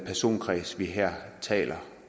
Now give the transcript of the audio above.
personkreds vi her taler